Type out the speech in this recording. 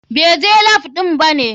BAI je lap ɗin bane?